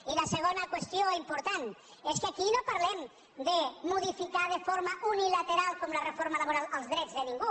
i la segona qüestió important és que aquí no parlem de modificar de forma unilateral com la reforma laboral els drets de ningú